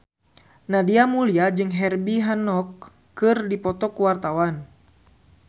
Nadia Mulya jeung Herbie Hancock keur dipoto ku wartawan